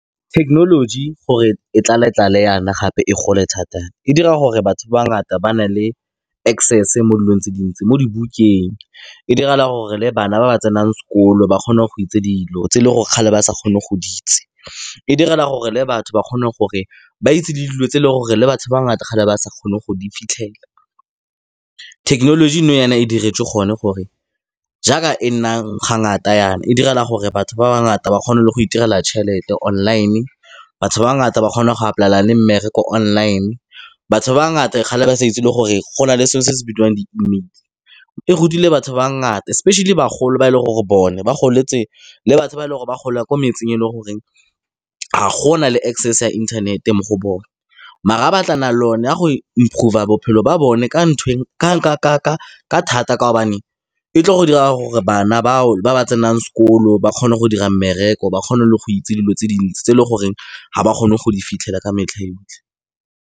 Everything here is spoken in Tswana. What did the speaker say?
Technology gore e tlale-tlale jaana gape e gole thata, e dira gore batho bangata ba na le access mo dilong tse dintsi mo dibukeng, e direla gore le bana ba ba tsenang sekolo ba kgone go itse dilo tse e leng gore kgale ba sa kgone go di itse. E direla gore le batho ba kgone gore ba itse le dilo tse e leng gore le batho ba ngata kgale ba sa kgone go di fitlhelela. Thekenoloji nou e diretswe gone gore jaaka e nna ga ngata jaana e direla gore batho ba bangata ba kgone le go itirela tjhelete online, batho ba ba ngata ba kgona go apply-ela le mmereko online, batho ba bangata e kgale ba sa itse le gore go na le sengwe se se bidiwang di e rutile batho ba bangata especially bagolo ba e leng gore bone ba goletse le batho ba e leng gore ba gola ko metseng e leng gore ga go na le access ya internet-e mo go bone. Mara batlana le o ne a go improver a bophelo ba bone ka nthwe ka thata ka kaobane e tle go dira gore bana bao ba ba tsenang sekolo ba kgone go dira mmereko, ba kgone le go itse dilo tse dintsi tse e le goreng ga ba kgone go di fitlhela ka metlha yotlhe.